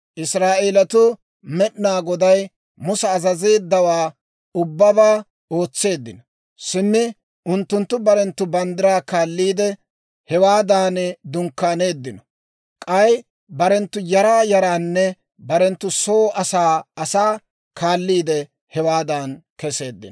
Israa'eelatuu Med'inaa Goday Musa azazeeddawaa ubbabaa ootseeddino. Simmi unttunttu barenttu banddiraa kaalliide, hewaadan dunkkaaneeddino; k'ay barenttu yaraa yaraanne barenttu soo asaa asaa kaalliide, hewaadan keseeddino.